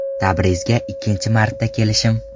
Tabrizga ikkinchi marta kelishim.